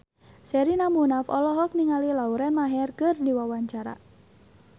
Sherina Munaf olohok ningali Lauren Maher keur diwawancara